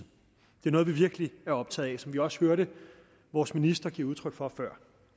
det er noget vi virkelig er optaget af hvad vi også hørte vores minister give udtryk for før